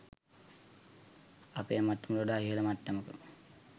අපේ මට්ටමට වඩා ඉහල මට්ටමක